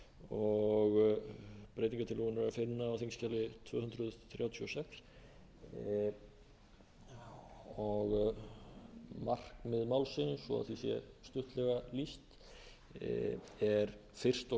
og breytingartillöguna er að finna á þingskjali tvö hundruð þrjátíu og sex markmið málsins svo því sé stuttlega lýst er fyrst og